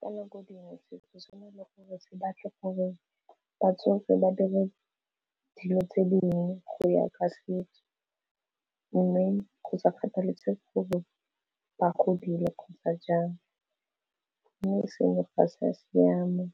Ka nako dingwe setso sena le gore se batle gore batsofe ba dire dilo tse dingwe go ya ka setso, mme go sa kgathalesege gore ba godile kgotsa jang, mme seno ga se a siama